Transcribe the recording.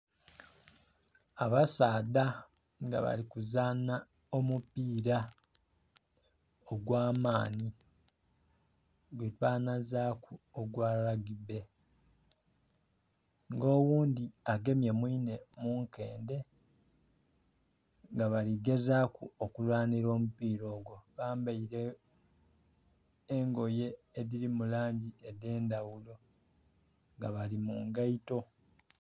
Abasaadha nga bali kuzanha omupiira ogw'amaani gwe banhazaku ogwa Rugby. Nga oghundhi agemye mwine mu nkendhe nga bali gezaaku kulwanira omupiira ogwo. Bambaile engoye edhirimu langi edh'endhaghulo nga bali mu ngaito.